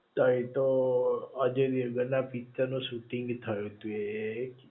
તય યો આજે દેવગન ના પિકચર નું શૂટિંગ થયું તું એ